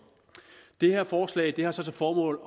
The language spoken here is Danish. det her forslag har til formål